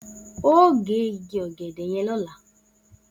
O óò gé igi ò̩gè̩dè̩ ye̩n ló̩la!